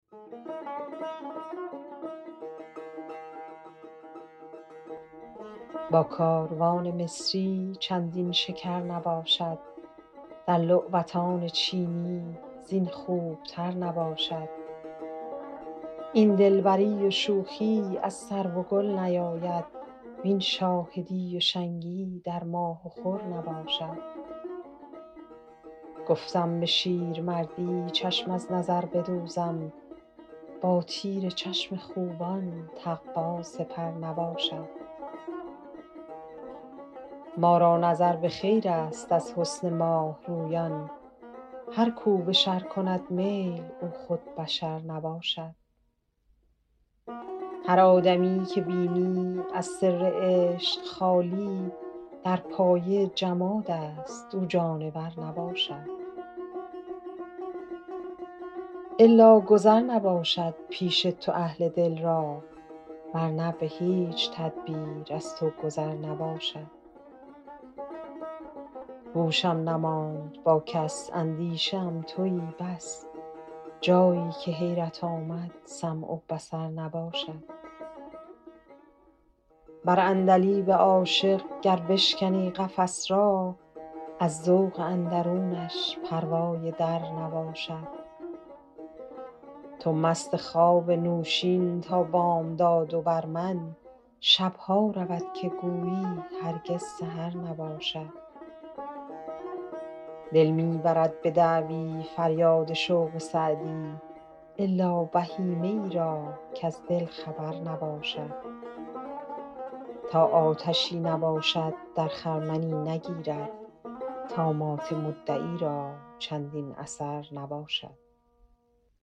با کاروان مصری چندین شکر نباشد در لعبتان چینی زین خوبتر نباشد این دلبری و شوخی از سرو و گل نیاید وین شاهدی و شنگی در ماه و خور نباشد گفتم به شیرمردی چشم از نظر بدوزم با تیر چشم خوبان تقوا سپر نباشد ما را نظر به خیرست از حسن ماه رویان هر کو به شر کند میل او خود بشر نباشد هر آدمی که بینی از سر عشق خالی در پایه جمادست او جانور نباشد الا گذر نباشد پیش تو اهل دل را ور نه به هیچ تدبیر از تو گذر نباشد هوشم نماند با کس اندیشه ام تویی بس جایی که حیرت آمد سمع و بصر نباشد بر عندلیب عاشق گر بشکنی قفس را از ذوق اندرونش پروای در نباشد تو مست خواب نوشین تا بامداد و بر من شب ها رود که گویی هرگز سحر نباشد دل می برد به دعوی فریاد شوق سعدی الا بهیمه ای را کز دل خبر نباشد تا آتشی نباشد در خرمنی نگیرد طامات مدعی را چندین اثر نباشد